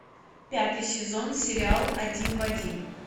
пятый сезон сериал один в один